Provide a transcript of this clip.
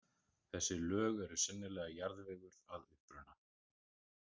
Þessi lög eru sennilega jarðvegur að uppruna.